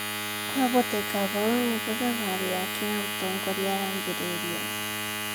kwahoteka hau nĩho thabarĩ yake ya ũtongoria yambĩrĩrie